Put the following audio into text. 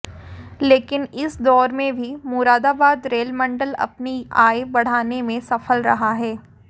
लेकिन इस दौर में भी मुरादाबाद रेल मंडल अपनी आय बढ़ाने में सफल रहा है